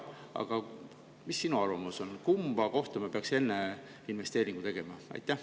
Aga mis sinu arvamus on, kumba kohta me peaksime enne investeeringu tegema?